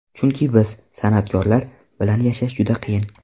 Chunki biz, san’atkorlar, bilan yashash juda qiyin.